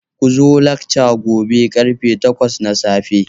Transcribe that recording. Ku zo lakca gobe ƙarfe takwas na safe